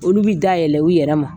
Olu bɛ da yɛlɛ u yɛrɛ ma